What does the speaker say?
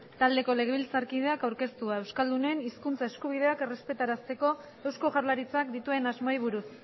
taldeko legebiltzarkideak aurkeztua euskaldunen hizkuntza eskubideak errespetarazteko eusko jaurlaritzak dituen asmoei buruz